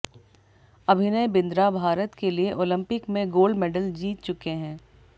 अभिनय बिंद्रा भारत के लिए ओलंपिक में गोल्ड मैडल जीत चुके हैं